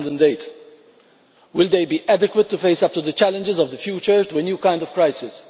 2008. Will they be adequate to face up to the challenges of the future, and to a new kind of crisis?